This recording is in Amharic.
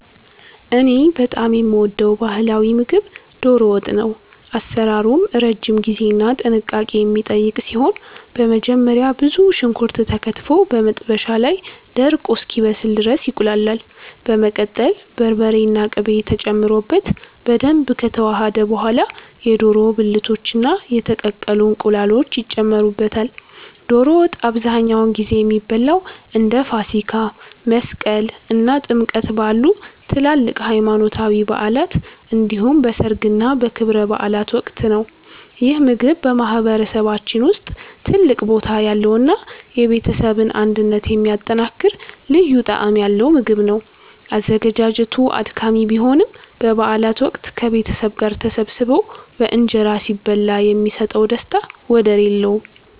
እኔ በጣም የምወደው ባህላዊ ምግብ 'ዶሮ ወጥ' ነው። አሰራሩም ረጅም ጊዜና ጥንቃቄ የሚጠይቅ ሲሆን፣ በመጀመሪያ ብዙ ሽንኩርት ተከትፎ በመጥበሻ ላይ ደርቆ እስኪበስል ድረስ ይቁላላል። በመቀጠል በርበሬና ቅቤ ተጨምሮበት በደንብ ከተዋሃደ በኋላ፣ የዶሮ ብልቶችና የተቀቀሉ እንቁላሎች ይጨመሩበታል። ዶሮ ወጥ አብዛኛውን ጊዜ የሚበላው እንደ ፋሲካ፣ መስቀል እና ጥምቀት ባሉ ትላልቅ ሃይማኖታዊ በዓላት እንዲሁም በሠርግና በክብረ በዓላት ወቅት ነው። ይህ ምግብ በማህበረሰባችን ውስጥ ትልቅ ቦታ ያለውና የቤተሰብን አንድነት የሚያጠናክር ልዩ ጣዕም ያለው ምግብ ነው። አዘገጃጀቱ አድካሚ ቢሆንም፣ በበዓላት ወቅት ከቤተሰብ ጋር ተሰባስቦ በእንጀራ ሲበላ የሚሰጠው ደስታ ወደር የለውም።